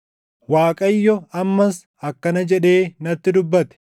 Waaqayyo ammas akkana jedhee natti dubbate: